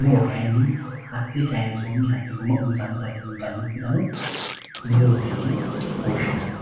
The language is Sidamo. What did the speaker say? muro kayini hati kayinsoniti gumma uyitanota murote yine woshinani.